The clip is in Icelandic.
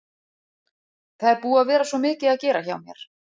Það er búið að vera svo mikið að gera hjá mér.